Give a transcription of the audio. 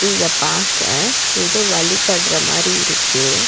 இத பாக்க எதோ வழிபட்ற மாறி இருக்கு.